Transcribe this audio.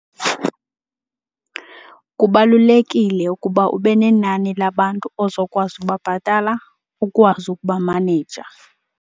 Kubalulekile ukuba ube nenani labantu ozokwazi ubabhatala ukwazi ukuba maneja.